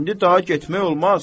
İndi daha getmək olmaz.